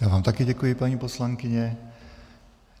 Já vám také děkuji, paní poslankyně.